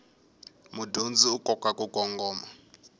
mudyondzi u kota ku kongoma